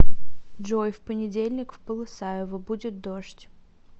джой в понедельник в полысаева будет дождь